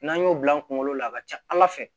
N'an y'o bila an kunkolo la a ka ca ala fɛ